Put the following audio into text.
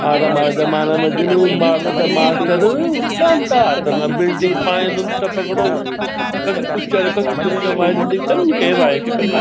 अर हमारा जमाना मा जिनु मारदा छा मास्टर उल्टा उल्टा हाथ मा बिल्डिंग पाणि उंद टपकणु अर कभी कुछ और कखी कुछ हमारी जिंदगी तन्नी गेई भाई कि कन अब।